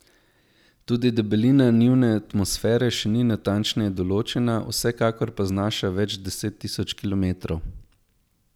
Tudi debelina njune atmosfere še ni natančneje določena, vsekakor pa znaša več deset tisoč kilometrov.